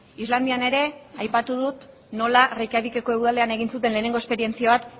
islandian ere aipatu dut nola reikiavik eko udalean egin zuten lehenengo esperientzia bat